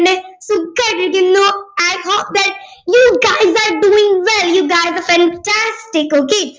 പിന്നെ സുഖായിട്ട് ഇരിക്കുന്നു i hope that you guys are doing well you guys are fantastic okay